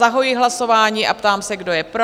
Zahajuji hlasování a ptám se, kdo je pro?